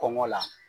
Kɔngɔ la